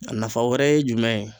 A nafa wɛrɛ ye jumɛn ye